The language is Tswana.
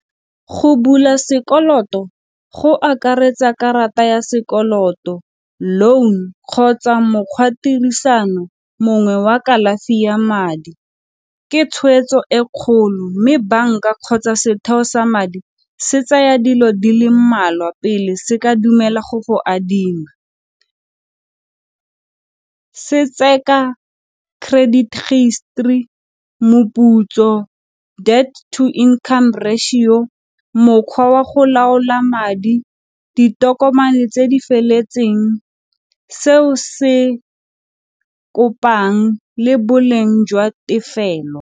Go bula sekoloto go akaretsa karata ya sekoloto, loan, kgotsa mokgwa tirisano mongwe wa kalafi ya madi. Ke tshwetso e kgolo mme banka kgotsa setheo sa madi se tsaya dilo di le mmalwa pele se ka dumela go go adima. Se credit , moputso debt to income ratio, mokgwa wa go laola madi, ditokomane tse di feletseng, seo se kopang le boleng jwa tefelo.